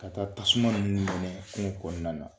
Ka taa tasuma ninnu mɛnɛ kungo kɔnɔna na.